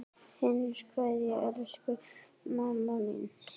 HINSTA KVEÐJA Elsku mamma mín.